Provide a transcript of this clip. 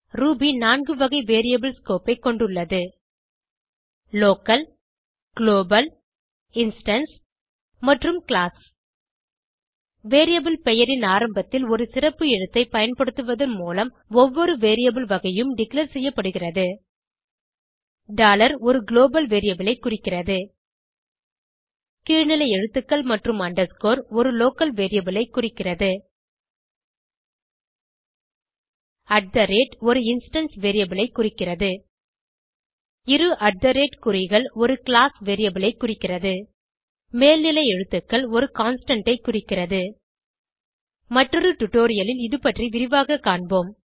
Ruby நான்கு வகை variable scope ஐ கொண்டுள்ளது லோக்கல் குளோபல் இன்ஸ்டான்ஸ் மற்றும் கிளாஸ் வேரியபிள் பெயரின் ஆரம்பத்தில் ஒரு சிறப்பு எழுத்தைக் பயன்படுத்துவதன் மூலம் ஒவ்வொரு வேரியபிள் வகையும் டிக்ளேர் செய்யப்படுகிறது ஒரு குளோபல் வேரியபிள் ஐ குறிக்கிறது கீழ்நிலை எழுத்துக்கள் மற்றும் அண்டர்ஸ்கோர் ஒரு லோக்கல் வேரியபிள் ஐ குறிக்கிறது ஒரு இன்ஸ்டான்ஸ் வேரியபிள் ஐ குறிக்கிறது இரு குறிகள் ஒரு கிளாஸ் வேரியபிள் ஐ குறிக்கிறது மேல் நிலை எழுத்துக்கள் ஒரு கான்ஸ்டன்ட் ஐ குறிக்கிறது மற்றொரு டுடோரியலில் இதுபற்றி விரிவாக காண்போம்